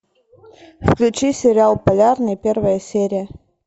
включи сериал полярный первая серия